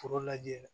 Foro lajɛ